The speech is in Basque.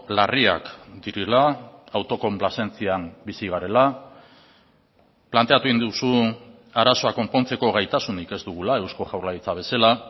larriak direla autokonplazentzian bizi garela planteatu egin duzu arazoa konpontzeko gaitasunik ez dugula eusko jaurlaritza bezala